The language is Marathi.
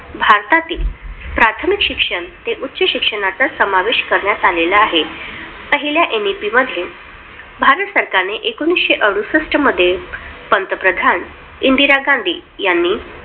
प्राथमिक शिक्षण ते उच्च शिक्षणाचा समावेश करण्यात आलेला आहे. पहिल्या NEP मध्ये भारतात सरकारने एकोणविशे अडुसष्ट मध्ये पंतप्रधान इंदिरा गाँधी यांनी